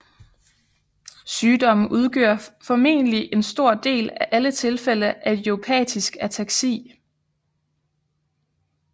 Sygdommen udgør formentlig en stor del af alle tilfælde af Idiopatisk ataksi